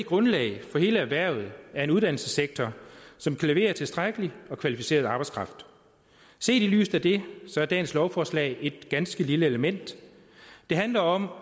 grundlag for hele erhvervet er en uddannelsessektor som kan levere tilstrækkelig og kvalificeret arbejdskraft set i lyset af det er dagens lovforslag et ganske lille element det handler om